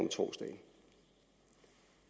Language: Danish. torsdag